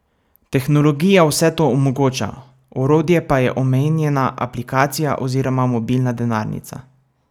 Tehnologija vse to omogoča, orodje pa je omenjena aplikacija oziroma mobilna denarnica.